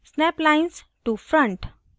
snap lines to front